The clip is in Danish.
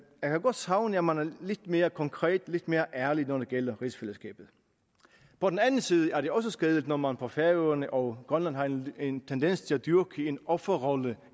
godt savne at man er lidt mere konkret lidt mere ærlig når det gælder rigsfællesskabet på den anden side er det også skadeligt når man på færøerne og i grønland har en en tendens til at dyrke en offerrolle